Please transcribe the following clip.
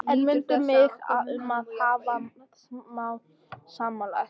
En mundu mig um að hafa það smálegt.